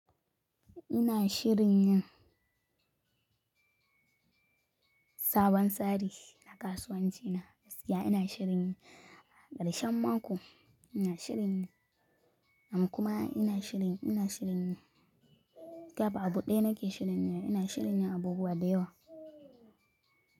Ina shirin yin sabon tsari na kasuwanci na gaskiya. Ina shirinyi a karshen mako, ina shirinyi, am kuma ina shirin, ina shirinyi ga ba abu ɗaya nake shirin yiba, ina shirin yin abubuwa dayawa.